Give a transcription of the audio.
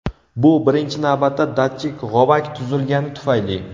Bu birinchi navbatda datchik g‘ovak tuzilgani tufayli.